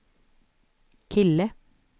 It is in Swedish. kille